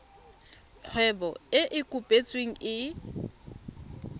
kgwebo e e kopetsweng e